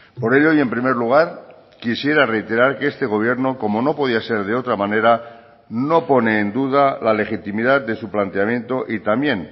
por ello y en primer lugar quisiera reiterar que este gobierno como no podía ser de otra manera no pone en duda la legitimidad de su planteamiento y también